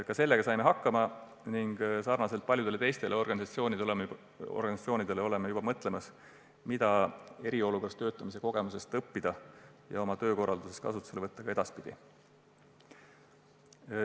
Ka sellega saime hakkama ning sarnaselt paljude teiste organisatsioonidega mõtleme juba selle peale, mida eriolukorras töötamise kogemusest õppida ja mida sellest oma töökorralduses edaspidigi kasutada.